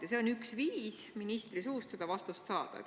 Ja see on üks viis ministri suust vastuseid saada.